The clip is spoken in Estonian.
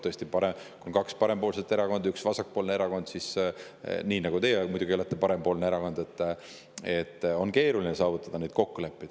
Tõesti, kui on kaks parempoolset erakonda ja üks vasakpoolne erakond – ka teie olete parempoolses erakonnas –, siis on neid kokkuleppeid keeruline saavutada.